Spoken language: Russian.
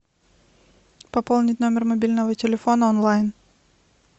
пополнить номер мобильного телефона онлайн